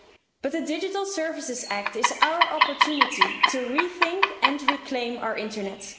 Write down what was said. But the Digital Services Act is our opportunity to rethink and reclaim our internet.